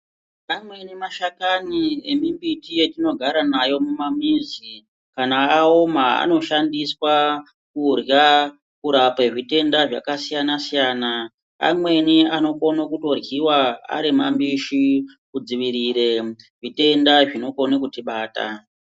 Ameni mashakani emimbiti yatinogara mayo mumamizi kana aoma anoshandiswa kurya kurape zvitenda zvakasiyana-siyana. Amweni anokone kutoryiwa ari mambishi kudzivirire zvitenda zvinokone kuti bata.